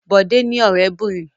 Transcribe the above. Bọ̀dé ní ọ̀rẹ́bìnrin.